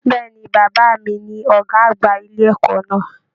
Bẹ̀ẹ́ni, bàbá mí ní ọgá àgbà ilé ẹ̀kọ́ náà.